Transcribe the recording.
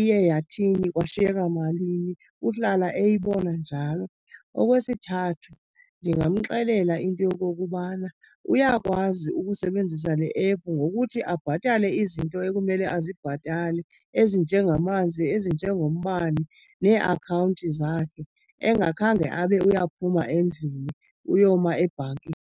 iye yathini, kwashiyeka malini, uhlala eyibona njalo. Okwesithathu, ndingamxelela into yokokubana uyakwazi ukusebenzisa le app ngokuthi abhatale izinto ekumele azibhatale ezinjengamanzi, ezinjengombane, neeakhawunti zakhe engakhange abe uyaphuma endlini uyoma ebhankini.